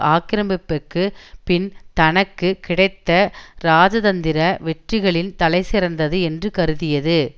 ஆக்கிரமிப்பிற்கு பின் தனக்கு கிடைத்த ராஜதந்திர வெற்றிகளின் தலைசிறந்தது என்று கருதியது